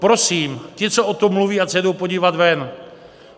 Prosím, ti, co o tom mluví, ať se jdou podívat ven.